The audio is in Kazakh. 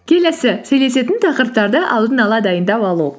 келесі сөйлесетін тақырыптарды алдын ала дайындап алу